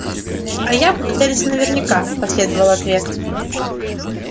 а я буду целиться наверняка последовал ответ